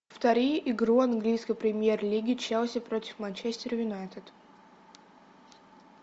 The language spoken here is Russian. повтори игру английской премьер лиги челси против манчестер юнайтед